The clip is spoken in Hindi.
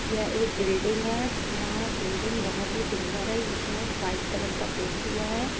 यह एक बिल्डिंग है। यहाँ बिल्डिंग बोहोत ही सुंदर है। इसमें वाइट कलर का पेंट हुआ है।